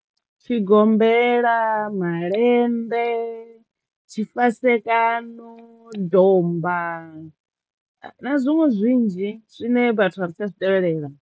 Tshigombela, malende, tshifasekano, domba na zwiṅwe zwinzhi zwine vhathu a ri tsha zwi tevhelela.